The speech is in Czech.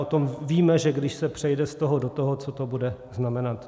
O tom víme, že když se přejde z toho do toho, co to bude znamenat.